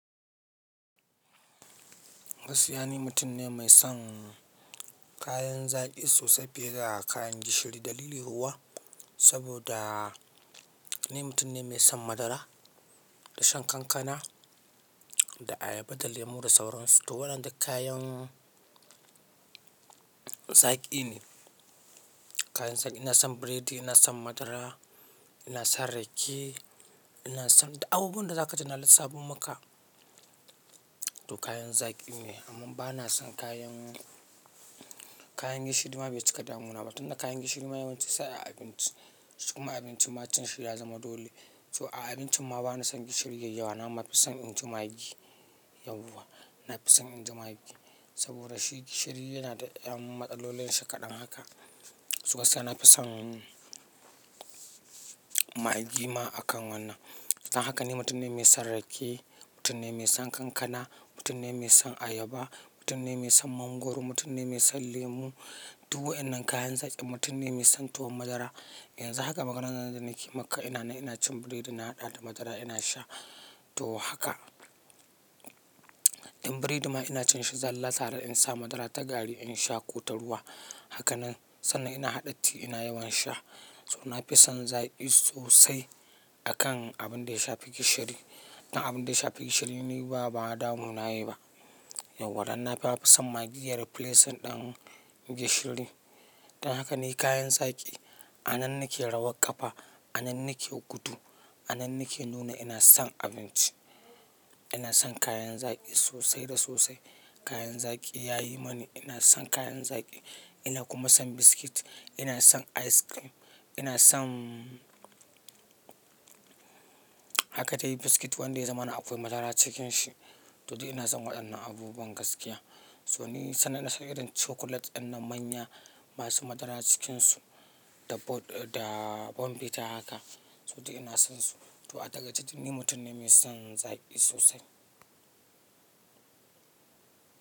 Gaskiya ni mutum ne mai son kayan zaki sosai fiye da kayan gishiri. Dalili kuwa saboda ni mutum ne mai son madara da shan kankana da ayaba da lemu da sauransu. To waɗannan duk kayan zaƙi ne. Kayan zaƙi ina son biredi, ina son madara, ina son rake, ina son duk abubuwan da za kaji na lissafo maka. To kayan zaƙi ne amma ba na son kayan, kayan gishiri ma bai cika damuna ba tun da kayan gishiri ma yawanci sai a abinci. Kuma abinci ma cin shi ya zama dole. To a abincin ma ba na son gishiri yayi yawa. Nama fi son in ji maggi yauwa. Na fi son in ji maggi saboda shi gishiri yana da ƴan matsalolin shi kaɗan haka. Suka sai na fi son maggi ma a kan wannan. Don haka ni mutum ne mai son rake, mutum ne mai son kankana, mutum ne mai son ayaba, mutum ne mai son mangwaro, mutum ne mai son lemu. Duk waƴannan kayan zaƙi mutum ne mai son tuwon madara. Yanzu haka maganar da nake maka ina na ina cin biredi na haɗa da madara ina sha. To haka in biredi ma ina cin shi zallar sa har in sa madara ta gari in sha ko ta ruwa. Haka nan sannan ina haɗa ti ina yawan sha. To na fi son zaki sosai a kan abin da ya shafi gishiri. Dan abin da ya shafi gishiri ni ba, ba damuna yayi ba. Yauwa dan na fi son maggi yayi replace ɗin gishiri. Don haka ni kayan zaki a nan nake rawar ƙafa, a nan nake gudu, a nan nake nuna ina son abinci. Ina son kayan zaki sosai da sosai. Kayan zaki ya yi mani. Ina son kayan zaki ina kuma son biscuit. Ina son ice cream. Ina son haka ta yi biscuit wanda ya zamana akwai madara cikin shi. To dai ina son waɗannan abubuwan gaskiya. To ni sannan ina son irin chocolate ɗinnan manya masu madara cikinsu da bombita haka. To dai ina sonsu. To a takaice ni mutum ne mai son zaki sosai.